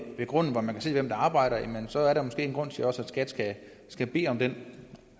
ved grunden så man kan se hvem der arbejder jamen så er der måske også en grund til at skat skal bede om den